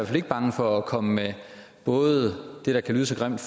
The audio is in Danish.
fald ikke bange for at komme med både det der kan lyde så grimt